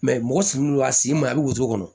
mɔgɔ sigilen don a sen ma a bɛ woto kɔnɔ